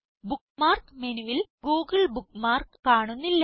bookmark മെനുവിൽ Google bookmark കാണുന്നില്ല